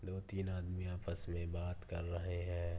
दो-तीन आदमी आपस में बात कर रहे हैं।